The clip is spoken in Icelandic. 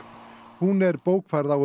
hún er bókfærð á